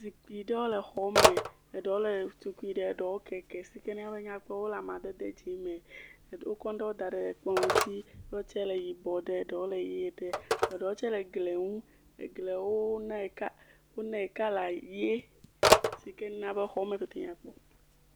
Zikpui aɖewo le xɔ me. Eɖewo le tui eɖe keke si ke mia be wonya kpɔ wole amadede dzi me. Eɖewo kɔ ŋuɖe da ɖe ekplɔ. Wotse le yibɔ ɖe eɖewo le ʋi ɖe. Eɖewo tse le gli nu, egliawo nae ka wonae kɔla ʋi si ken a be xɔme pɛtɛ nyakpɔ.